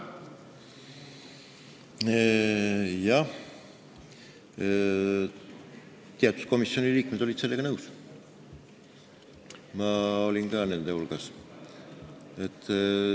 Jah, komisjoni teatud liikmed olid sellega nõus, mina olin ka nende hulgas.